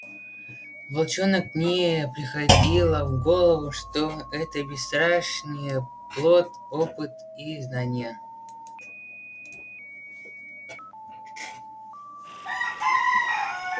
волчонок не приходило в голову что это бесстрашие плод опыта и знания